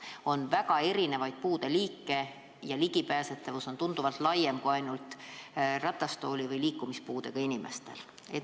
On väga erinevaid puudeliike ja ligipääsetavus on tunduvalt laiem probleem kui ainult ratastooli- või liikumispuudega inimeste probleem.